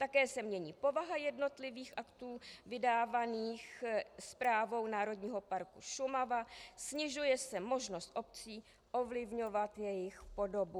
Také se mění povaha jednotlivých aktů vydávaných Správou Národního parku Šumava, snižuje se možnost obcí ovlivňovat jejich podobu.